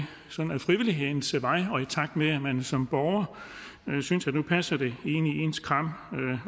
sådan ad frivillighedens vej og i takt med at man som borger synes at nu passer det ind i ens kram